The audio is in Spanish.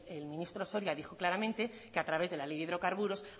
el ministro soria dijo claramente que a través de la ley de hidrocarburos